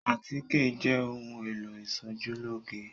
Àtíkè jẹ́ ohun-èlò ìṣojúlóge.